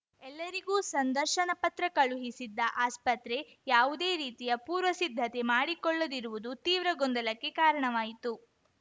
ಎಲ್ಲರಿಗೂ ಸಂದರ್ಶನ ಪತ್ರ ಕಳುಹಿಸಿದ್ದ ಆಸ್ಪತ್ರೆ ಯಾವುದೇ ರೀತಿಯ ಪೂರ್ವಸಿದ್ಧತೆ ಮಾಡಿಕೊಳ್ಳದಿರುವುದು ತೀವ್ರ ಗೊಂದಲಕ್ಕೆ ಕಾರಣವಾಯಿತು